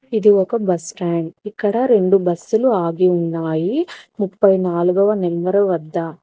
ఇది ఒక బస్టాండ్ ఇక్కడ రెండు బస్సులు ఆగి ఉన్నాయి ముప్పై నాలుగవ వ నెంబర్ వద్ద.